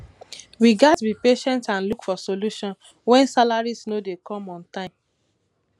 we gats be patient and look for solutions wen salaries no dey come on time